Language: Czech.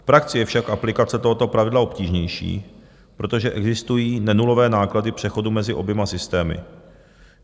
V praxi je však aplikace tohoto pravidla obtížnější, protože existují nenulové náklady přechodu mezi oběma systémy.